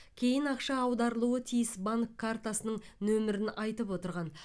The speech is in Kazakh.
кейін ақша аударылуы тиіс банк картасының нөмірін айтып отырған